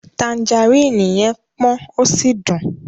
Tanjaríìnì yẹn pọ́n ó sì dùn.